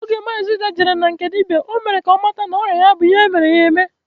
Oge maazi Ude jere na nke dibịa, e mere ka ọ mata na ọrịa ya bụ ihe e mere ya eme